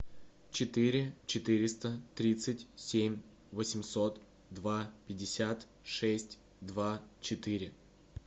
четыре четыреста тридцать семь восемьсот два пятьдесят шесть два четыре